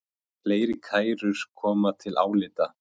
Fleiri kærur komu til álita